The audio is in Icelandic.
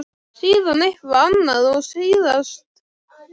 Síðan eitthvað annað og síðast makinn.